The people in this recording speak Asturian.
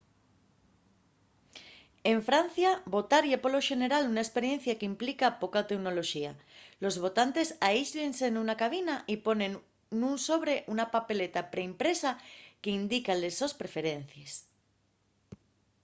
en francia votar ye polo xenera una esperiencia qu’implica poca teunoloxía: los votantes aísllense nuna cabina y ponen nun sobre una papeleta pre-impresa qu’indica les sos preferencies